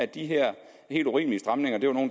de her helt urimelige stramninger